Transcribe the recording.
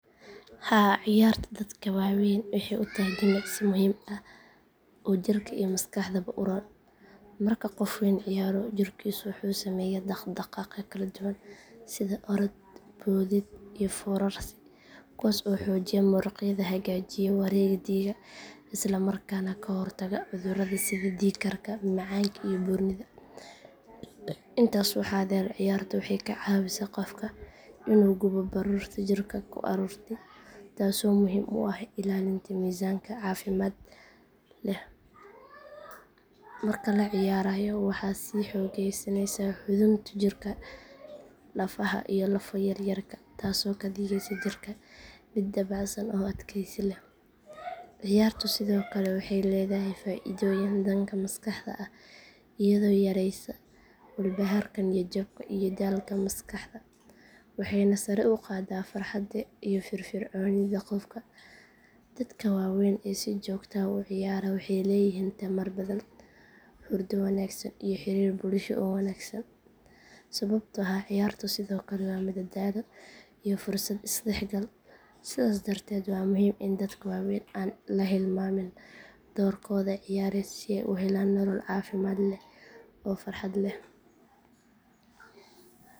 Haa ciyaartu dadka waaweyn waxay u tahay jimicsi muhiim ah oo jirka iyo maskaxdaba u roon. Marka qof weyn ciyaaro jirkiisu wuxuu sameeyaa dhaqdhaqaaqyo kala duwan sida orod, boodid iyo foorarsi kuwaas oo xoojiya muruqyada, hagaajiya wareegga dhiigga isla markaana ka hortaga cudurrada sida dhiig karka, macaanka iyo buurnida. Intaas waxaa dheer ciyaartu waxay ka caawisaa qofka inuu gubo baruurta jirka ku ururtay taasoo muhiim u ah ilaalinta miisaanka caafimaad leh. Marka la ciyaarayo waxaa sii xoogeysanaya xudunta jirka, lafaha iyo lafo yaryarka taasoo ka dhigeysa jirka mid dabacsan oo adkaysi leh. Ciyaartu sidoo kale waxay leedahay faa’iidooyin dhanka maskaxda ah iyadoo yareysa walbahaarka, niyad jabka iyo daalka maskaxda waxayna sare u qaadaa farxadda iyo firfircoonida qofka. Dadka waaweyn ee si joogto ah u ciyaara waxay leeyihiin tamar badan, hurdo wanaagsan iyo xiriir bulsho oo wanaagsan sababtoo ah ciyaartu sidoo kale waa madadaalo iyo fursad isdhexgal. Sidaas darteed waa muhiim in dadka waaweyn aan la hilmaamin doorkooda ciyaareed si ay u helaan nolol caafimaad leh oo farxad leh.